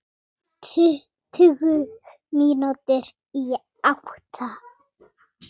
Tuttugu mínútur í átta.